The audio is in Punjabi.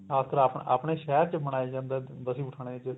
ਖਾਸ ਕਰ ਆਪਣੇ ਸ਼ਹਿਰ ਚ ਮਨਾਇਆ ਜਾਂਦਾ ਬਸੀ ਪਠਾਣਾ ਚ